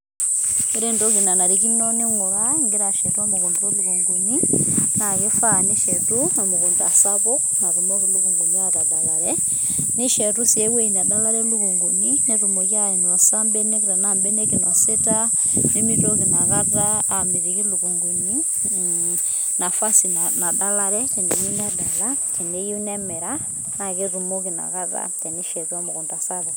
ore entoki nanarikino ningura, ingira ashetu emukunda olukunguni, na ifaa nishetu emukundaa sapuk natumoki ilikunguni atadalare nishetu si eweji nadalare ilikunguni netumoki ainosa ibenek tena ibenek inosita nemitoki inakata amitiki ilikunguni, mm nafasi nadalare teneyieu nedala, teneyieu nemera na ketumoki nakata tenishetu emukunda sapuk.